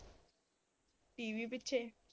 TV ਪਿਛੇ